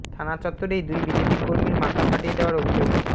থানা চত্বরেই দুই বিজেপি কর্মীর মাথা ফাটিয়ে দেওয়ার অভিযোগ